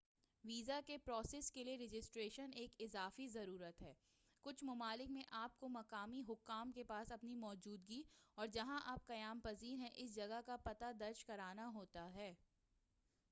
visa کے process کے لیے رجسٹریشن ایک اضافی ضرورت ہے کچھ ممالک میں آپ کو مقامی حکام کے پاس اپنی موجودگی اور جہاں آپ قیام پذیر ہیں اس جگہ کا پتہ درج کرانا ہوتا ھے